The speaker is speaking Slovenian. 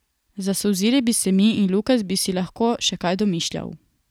Zasolzile bi se mi in Lukas bi si lahko še kaj domišljal.